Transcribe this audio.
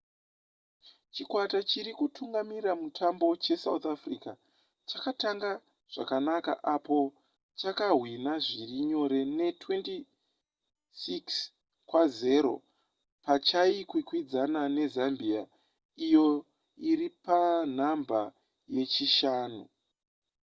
chikwata chiri kutungamirira mutambo chesouth africa chakatanga zvakanaka apo chakahwinha zviri nyore ne26 - 00 pachaikwikwidzana nezambia iyo iri panhamba yechishanu